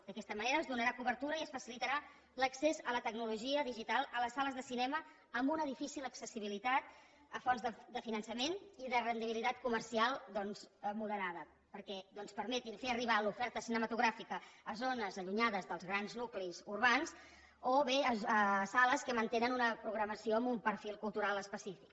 d’aquesta manera es donarà cobertura i es facilitarà l’accés a la tecnologia digital a les sales de cinema amb una difícil accessibilitat a fons de finançament i de rendibilitat comercial doncs moderada perquè permetin fer arribar l’oferta cinematogràfica a zones allunyades dels grans nuclis urbans o bé a sales que mantenen una programació amb un perfil cultural específic